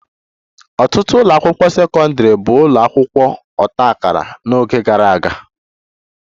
Ọtụtụ ụlọ akwụkwọ sekọndrị bụ ụlọ akwụkwọ ọta akara n'oge gara aga